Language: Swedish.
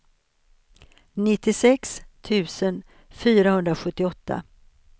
nittiosex tusen fyrahundrasjuttioåtta